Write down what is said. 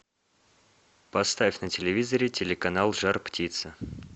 поставь на телевизоре телеканал жар птица